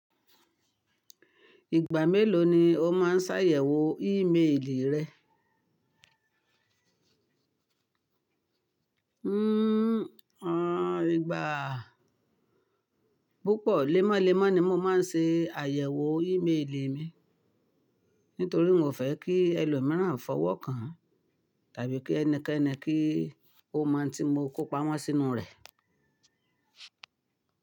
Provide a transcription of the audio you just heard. Ìgbà mélòó ni o máa ń ṣàyẹ̀wò ímeèlì rẹ? Hmm, à, ìgbà, púpọ̀, lẹ́málẹ́má ni mo máa ń ṣe àyẹ̀wò ímeèlì mi. Nítorí mo fẹ́ kí ẹlòmíràn fọwọ́ kan tàbí kí ẹnikẹ́ni kí ó mọ n tí mo kó pamọ́ sínú rẹ̀.